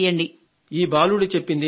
ఈ బాలుడు చెప్పింది నిజమే